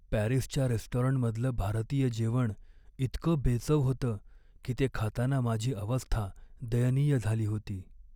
पॅरिसच्या रेस्टॉरंटमधलं भारतीय जेवण इतकं बेचव होतं की ते खाताना माझी अवस्था दयनीय झाली होती.